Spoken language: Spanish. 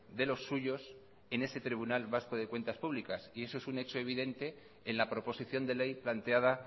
de los suyos en ese tribunal vasco de cuentas públicas y eso es un hecho evidente en la proposición de ley planteada